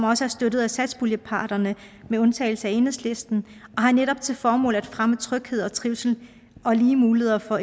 også støttet af satspuljeparterne med undtagelse af enhedslisten og har netop til formål at fremme tryghed og trivsel og lige muligheder for